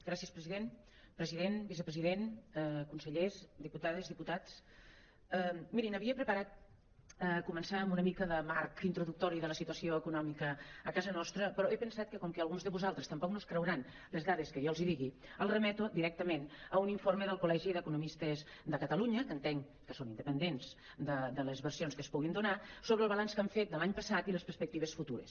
gràcies president president vicepresident consellers diputa·des diputats mirin havia preparat començar amb una mica de marc introducto·ri de la situació econòmica a casa nostra però he pensat que com que alguns de vosaltres tampoc no es creuran les dades que jo els digui els remeto directament a un informe del col·legi d’economistes de catalunya que entenc que són inde·pendents de les versions que es puguin donar sobre el balanç que han fet de l’any passat i les perspectives futures